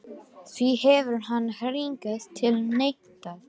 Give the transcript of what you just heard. Því hefur hann hingað til neitað